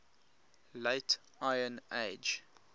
late iron age